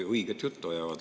Õiget juttu ajavad!